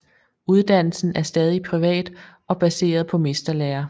Uddannelsen er stadig privat og baseret på mesterlære